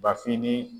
Bafin ni